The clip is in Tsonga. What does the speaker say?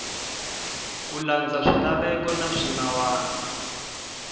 ku landza swilaveko na swinawana